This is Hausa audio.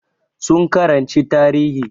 Su karanci tarihi